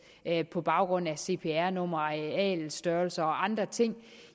på baggrund af cpr numre arealets størrelse og andre ting